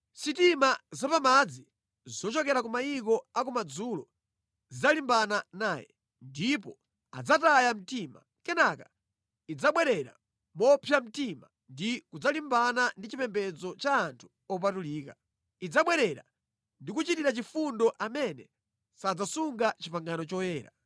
Sitima zapamadzi zochokera ku mayiko a ku madzulo zidzalimbana naye, ndipo adzataya mtima. Kenaka idzabwerera mopsa mtima ndi kudzalimbana ndi chipembedzo cha anthu opatulika. Idzabwerera ndi kuchitira chifundo amene sadzasunga pangano loyera.